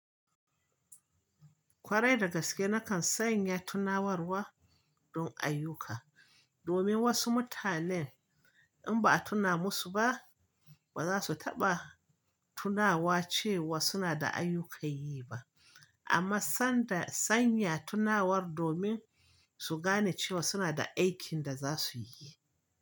Kwarai da gaske na kan sanya tunawarwa don ayyuka, domin wasu mutanen in ba a tuna musu ba ba za su taɓa tunawa ce wa suna da ayyukan yi ba. Amma sanda sanya tunawar domin su gane cewa suna da aikin da za su yi.